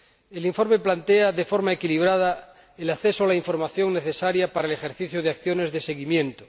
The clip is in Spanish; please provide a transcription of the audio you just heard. El informe plantea, de forma equilibrada, el acceso a la información necesaria para el ejercicio de acciones de seguimiento.